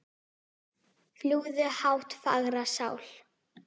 Fljúgðu hátt fagra sál.